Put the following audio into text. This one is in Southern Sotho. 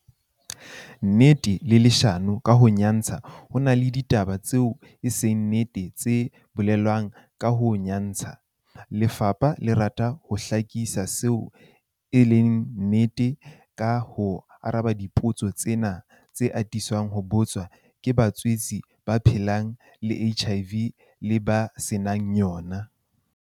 Nnete le leshano ka ho nyantsha Ho na le ditaba tseo e seng nnete tse bolelwang ka ho nyantsha, lefapha le rata ho hlakisa seo e seng nnete ka ho araba dipotso tsena tse atisang ho botswa ke batswetse ba phelang le HIV le ba se nang yona.